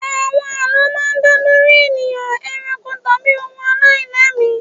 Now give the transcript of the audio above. Àlọ́ máa ń dá lórí ènìyàn, eranko, tàbí ohun aláìlẹ́mìí.